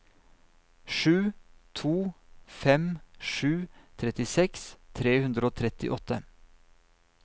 sju to fem sju trettiseks tre hundre og trettiåtte